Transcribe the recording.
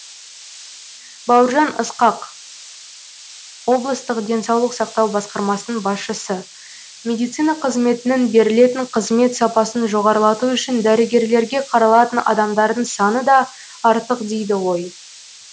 бауыржан ысқақ облыстық денсаулық сақтау басқармасының басшысы медицина қызметінің берілетін қызмет сапасын жоғарлату үшін дәрігерлерге қаралатын адамдардың саны да артық дейді ғой